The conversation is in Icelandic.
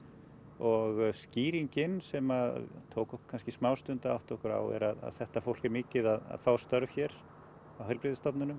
og skýringin sem tók okkur kannski smá stund að átta okkur á er að þetta fólk er mikið að fá störf hér á heilbrigðisstofnunum